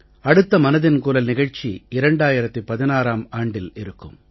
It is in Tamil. அடுத்த மனதின் குரல் நிகழ்ச்சி 2016ம் ஆண்டில் இருக்கும்